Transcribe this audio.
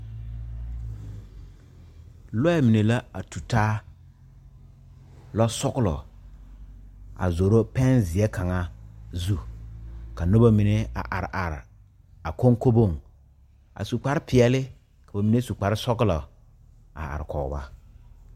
Lɔɛ mine la a tu taa lɔsɔglɔ a zoro pɛnzeɛ kaŋa zu ka noba mine a are are a konkoboŋ a su kparpeɛle ka ba mine su kparsɔglɔ a are kɔge ba.